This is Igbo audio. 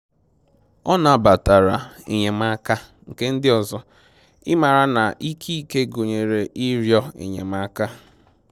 Ọ nabatara enyemaka nke ndị ọzọ, ịmara na ike ike gụnyere ịrịọ enyemaka